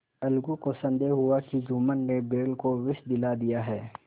अलगू को संदेह हुआ कि जुम्मन ने बैल को विष दिला दिया है